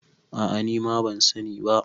a ' a ni ma ban sani ba